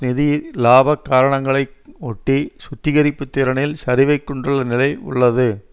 நிதி இலாபக் காரணங்களை ஒட்டி சுத்திகரிப்புத் திறனில் சரிவைக் கொண்டு நிலை உள்ளது